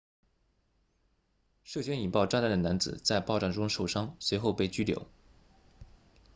涉嫌引爆炸弹的男子在爆炸中受伤随后被拘留